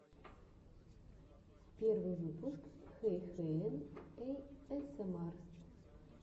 первый выпуск хэйхелен эйэсэмар